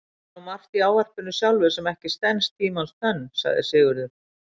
Það er nú margt í ávarpinu sjálfu sem ekki stenst tímans tönn, sagði Sigurður.